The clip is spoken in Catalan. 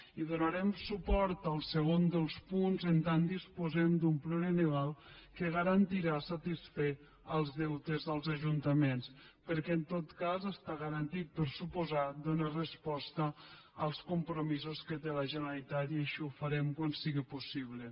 i donarem suport al segon dels punts en tant que dis·posem d’un plurianual que garantirà satisfer els deutes dels ajuntaments perquè en tot cas està garantit per descomptat donar resposta als compromisos que té la generalitat i així ho farem quan sigui possible